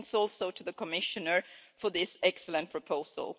Thanks also to the Commissioner for this excellent proposal.